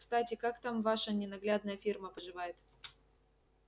кстати как там ваша ненаглядная фирма поживает